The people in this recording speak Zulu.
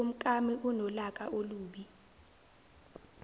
umkami unolaka olubi